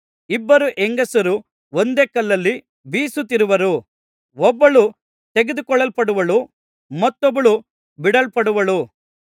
ಇಬ್ಬರು ಹೆಂಗಸರು ಒಂದೇ ಕಲ್ಲಲ್ಲಿ ಬೀಸುತ್ತಿರುವರು ಒಬ್ಬಳು ತೆಗೆದುಕೊಳ್ಳಲ್ಪಡುವಳು ಮತ್ತೊಬ್ಬಳು ಬಿಡಲ್ಪಡುವಳು